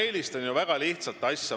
Ma eelistan väga lihtsat asja.